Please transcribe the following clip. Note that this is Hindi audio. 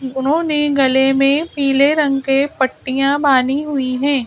उन्होंने गले में पीले रंग के पट्टियां बानी हुई है।